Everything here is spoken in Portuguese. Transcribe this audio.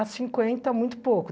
À cinquenta, muito pouco.